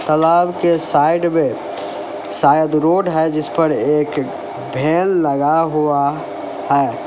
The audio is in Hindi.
तालाब के साइड में शायद रोड है जिस पर एक भेल लगा हुआ है।